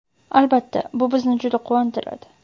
Albatta, bu bizni juda quvontiradi.